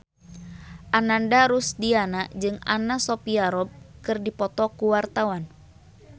Ananda Rusdiana jeung Anna Sophia Robb keur dipoto ku wartawan